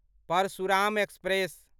Parshuram express